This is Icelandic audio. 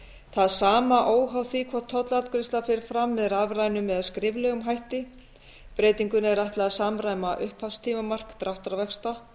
það sama óháð því hvort tollafgreiðsla fer fram með rafrænum eða skriflegum hætti breytingunni er ætlað að samræma upphafstímamark dráttarvaxta